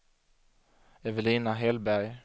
Evelina Hellberg